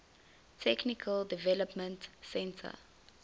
technical development center